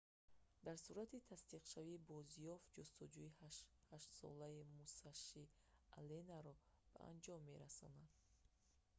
дар сурати тасдиқшавӣ бозёфт ҷустуҷӯи ҳаштсолаи мусаши алленро ба анҷом мерасонад